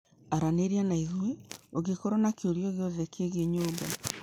Araniria naithui ũngikorwo na kiũria o giothe kĩgĩĩ nyũmba.